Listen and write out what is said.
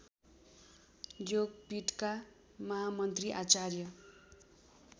योगपीठका महामन्त्री आचार्य